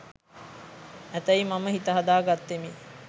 ඇතැයි මම හිත හදා ගත්තෙමි.